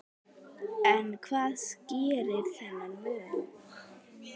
En hvað skýrir þennan mun?